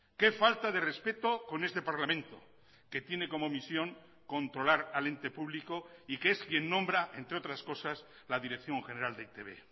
qué falta de respeto con este parlamento que tiene como misión controlar al ente público y que es quien nombra entre otras cosas la dirección general de e i te be